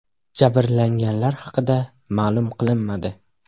Jabrlanganlar haqida ma’lum qilinmadi.